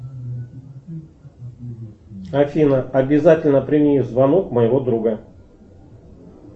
афина обязательно прими звонок моего друга